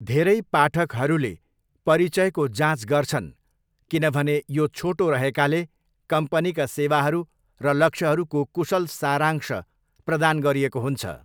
धेरै पाठकहरूले परिचयको जाँच गर्छन् किनभने यो छोटो रहेकाले कम्पनीका सेवाहरू र लक्ष्यहरूको कुशल सारांश प्रदान गरिएको हुन्छ।